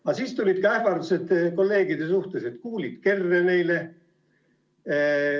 Aga siis tulid ka ähvardused kolleegide suhtes, et kuulid kerre neile.